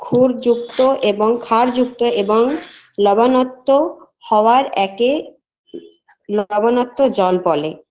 খুর যুক্ত এবং খার যুক্ত এবং লবণাক্ত হওয়ার একে লবনাক্ত জল বলে